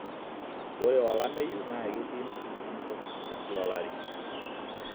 ore olameyu naa ketii nusu enkop te kila olari